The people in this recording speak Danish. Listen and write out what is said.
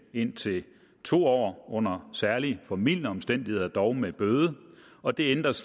indtil to år under særlig formildende omstændigheder dog med bøde og det ændres